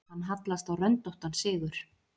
Hann hallast á röndóttan sigur.